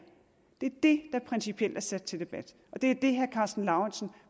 det er det der principielt er sat til debat og det er det herre karsten lauritzen